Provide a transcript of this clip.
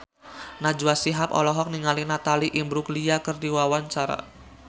Najwa Shihab olohok ningali Natalie Imbruglia keur diwawancara